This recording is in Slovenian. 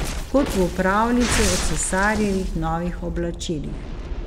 Kot v pravljici o cesarjevih novih oblačilih.